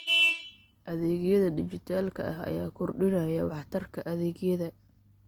Adeegyada dijitaalka ah ayaa kordhinaya waxtarka adeegyada.